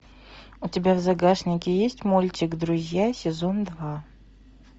у тебя в загашнике есть мультик друзья сезон два